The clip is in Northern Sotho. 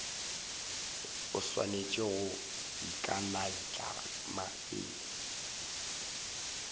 o swanetše go ikanaitlama pele